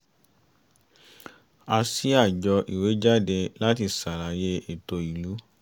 a ṣí àjọ ìwé jáde láti ṣàlàyé ètò ìlú